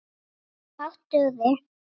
En fátt dugði.